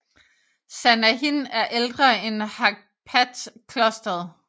Sanahin er ældre end Haghpat Klosteret